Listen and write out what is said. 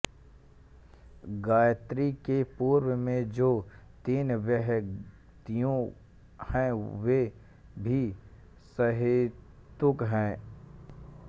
गायत्री के पूर्व में जो तीन व्याहृतियाँ हैं वे भी सहेतुक हैं